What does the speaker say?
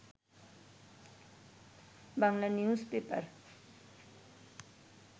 Bangla news paper